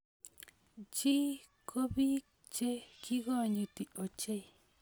Chie ko biik che kikonyiti ochei.